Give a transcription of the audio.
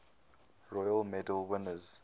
royal medal winners